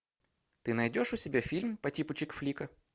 ты найдешь у себя фильм по типу чикфлика